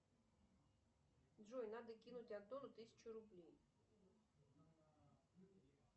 джой надо кинуть антону тысячу рублей